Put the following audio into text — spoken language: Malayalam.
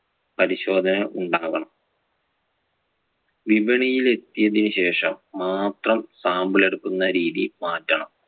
പരിശോധന ഉണ്ടാവണം. വിപണിയിൽ എത്തിയതിനു ശേഷം മാത്രം sample എടുക്കുന്ന രീതി മാറ്റണം.